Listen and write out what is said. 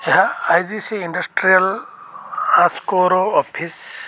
ଏହା I G C industrial ହଂସ୍କୋ ର ଅଫିସ ।